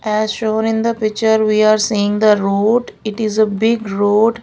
as shown in the picture we are seeing the road it is a big road.